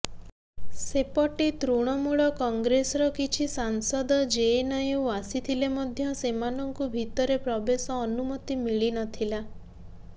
ସେପଟେ ତୃଣମୂଳ କଂଗ୍ରେସର କିଛି ସାଂସଦ ଜେଏନୟୁ ଆସିଥିଲେ ମଧ୍ୟ ସେମାନଙ୍କୁ ଭିତରେ ପ୍ରବେଶ ଅନୁମତି ମିଳିନଥିଲା